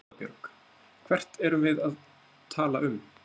Erla Björg: Hvert erum við að tala um?